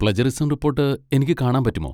Plagiarism report എനിക്ക് കാണാൻ പറ്റുമോ?